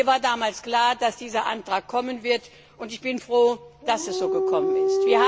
Mir war damals klar, dass dieser Antrag kommen wird, und ich bin froh, dass es so gekommen ist.